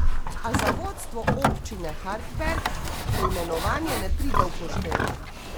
A za vodstvo občine Hartberg preimenovanje ne pride poštev.